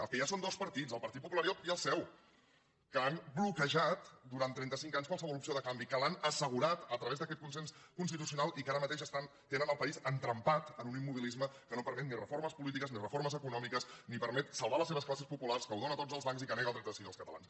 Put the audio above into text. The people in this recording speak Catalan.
el que hi ha són dos partits el partit popular i el seu que han bloquejat durant trentacinc anys qualsevol opció de canvi que l’han assegurat a través d’aquest consens constitucional i que ara mateix tenen el país entrampat en un immobilisme que no permet ni reformes polítiques ni reformes econòmiques ni permet salvar les seves classes populars que ho dóna tot als bancs i que nega el dret a decidir als catalans